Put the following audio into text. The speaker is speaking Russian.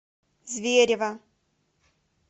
зверево